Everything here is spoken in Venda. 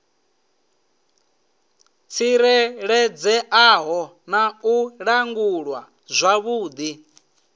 tsireledzeaho na u langulwa zwavhudi